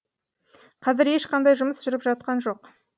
қазір ешқандай жұмыс жүріп жатқан жоқ